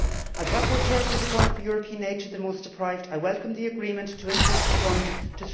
As rapporteur for the Fund for European Aid to the Most Deprived, I welcomed the agreement to increase the Fund to EUR